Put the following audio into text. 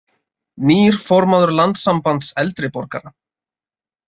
Nýr formaður Landssambands eldri borgara